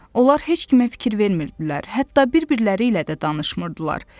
Onlar heç kimə fikir vermirdilər, hətta bir-birləri ilə də danışmırdılar.